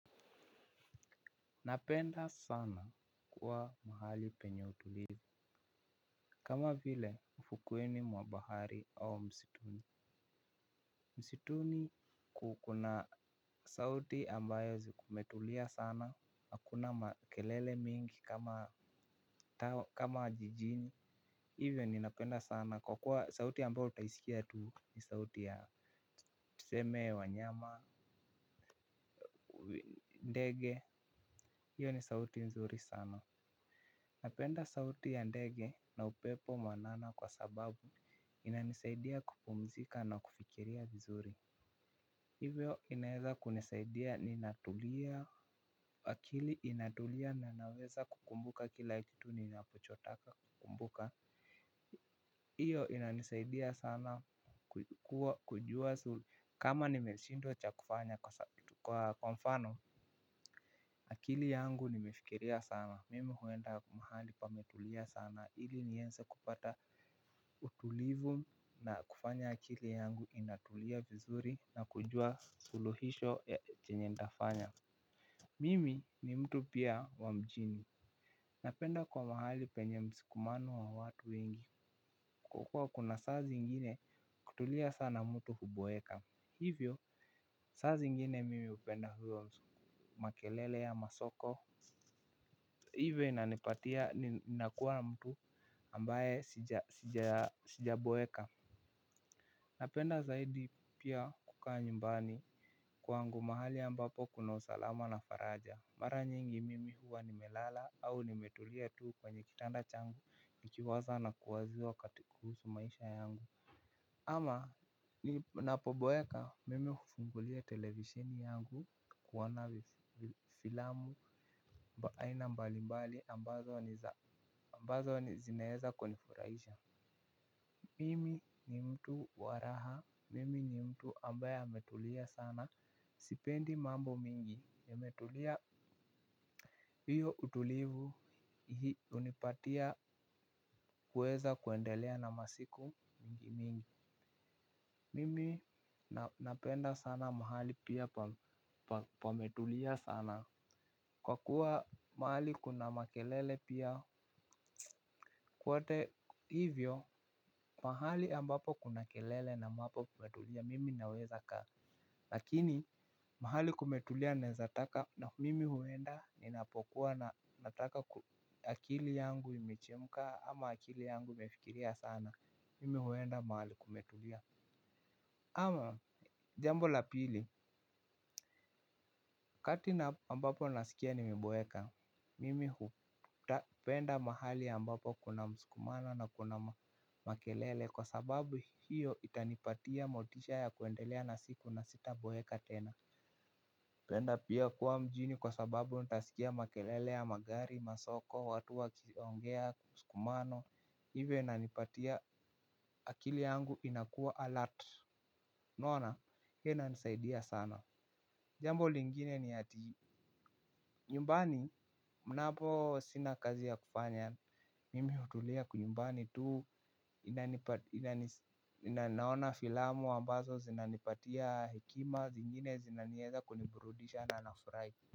Napenda sana kuwa mahali penye utulivu. Kama vile ufuoni mwa bahari au msituni msituni kukuna sauti ambayo zimetulia sana. Hakuna makelele mingi kama jijini. Hivyo ninapenda sana kwa kuwa sauti ambayo utaisikia tuu ni sauti ya tuseme wanyama ndege. Hio ni sauti nzuri sana. Napenda sauti ya ndege na upepo mwanana kwa sababu inanisaidia kupumzika na kufikiria vizuri hivyo inaweza kunisaidia ni natulia. Akili inatulia na naweza kukumbuka kila kitu ninachotaka kukumbuka. Iyo inanisaidia sana kujua suli kama nimeshindwa cha kufanya kwa kwa mfano. Akili yangu nimefikiria sana, mimi huenda mahali pametulia sana ili nieze kupata utulivu na kufanya akili yangu inatulia vizuri na kujua suluhisho ya chenye nitafanya. Mimi ni mtu pia wa mjini. Napenda kwa mahali penye msikumano wa watu wengi, kukua kuna saazi ingine kutulia sana mtu huboeka. Hivyo, saazi ingine mimi hupenda hio, makelele ya masoko. Pia ninakua mtu ambaye sijaboeka. Napenda zaidi pia kukaa nyumbani kwangu mahali ambapo kuna usalama na faraja. Mara nyingi mimi huwa nimelala au nimetulia tuu kwenye kitanda changu. Nikiwaza na kuwazua katika kuhusu maisha yangu. Ama ninapoboeka mimi hufungulia televisheni yangu kuoana filamu aina mbali mbali ambazo ni zinaeza kunifurahisha. Mimi ni mtu wa raha, mimi ni mtu ambaye ametulia sana, sipendi mambo mingi nimetulia. Hio utulivu hii hunipatia kuweza kuendelea na masiku mingi mingi. Mimi napenda sana mahali pia pametulia sana. Kwa kuwa mahali kuna makelele pia kwote hivyo mahali ambapo kuna kelele na mahali kumetulia mimi nawezakaa. Lakini mahali kumetulia naezataka na mimi huenda ninapokuwa na nataka akili yangu imechemka ama akili yangu imefikiria sana. Mimi huenda mahali kumetulia. Ama jambo la pili, kati na ambapo nasikia nimeboeka, mimi hupenda mahali ambapo kuna msukumano na kuna makelele kwa sababu hiyo itanipatia motisha ya kuendelea na siku na sitaboeka tena. Penda pia kuwa mjini kwa sababu utasikia makelele ya magari masoko, watu wakiongea msukumano, hivyo inanipatia akili yangu inakua alert unaona, hiyo inanisaidia sana. Jambo lingine ni ati nyumbani mnapo sina kazi ya kufanya mimi hutulia nyumbani tuu inanipati ninaona filamu ambazo zinanipatia hekima zingine zinanieza kuniburudisha na nafurahi.